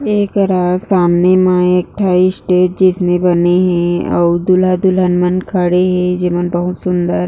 एकरा सामने में एक ठ स्टेज जैसने बने हे दूल्हा-दुल्हिन मन खड़े हे बहुत सुन्दर--